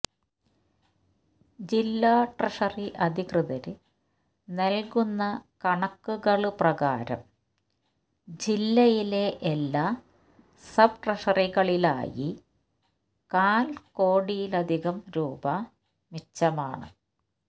ജില്ലാ ട്രഷറി അധികൃതര് നല്കുന്ന കണക്കുകള് പ്രകാരം ജില്ലയിലെ എല്ലാ സബ് ട്രഷറികളിലായി കാല് കോടിയിലധികം രൂപാ മിച്ചമാണ്